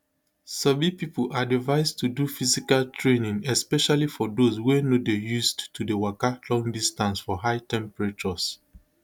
sabi pipo advice to do physical training especially for those wey no dey used to dey waka long distance for high temperatures